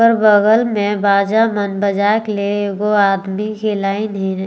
ओकर बगल में बाजा मन बजाएक लागिन वो आदमी के लाइन हे।